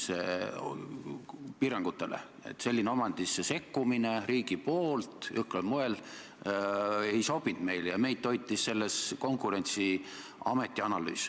Selline riigipoolne jõhkral moel omandisse sekkumine ei sobinud meile ja meid toitis seejuures Konkurentsiameti analüüs.